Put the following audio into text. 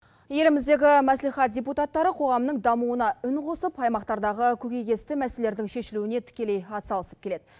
еліміздегі мәслихат депутаттары қоғамның дамуына үн қосып аймақтардағы көкейкесті мәселелердің шешілуіне тікелей атсалысып келеді